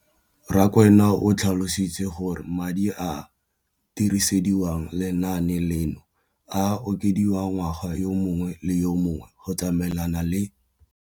Rakwena o tlhalositse gore madi a a dirisediwang lenaane leno a okediwa ngwaga yo mongwe le yo mongwe go tsamaelana le